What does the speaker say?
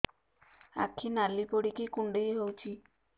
ଆଖି ନାଲି ପଡିକି କୁଣ୍ଡେଇ ହଉଛି